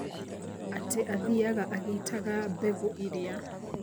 Atĩ athiaga agĩitaga mbegũ iria.